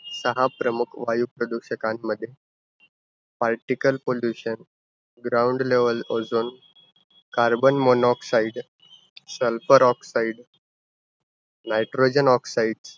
दहा प्रमुख वायू प्रदूषकांमध्ये, particle pollution, ground level ozone, carbon monoxide, sulphur oxide, nitrogen oxide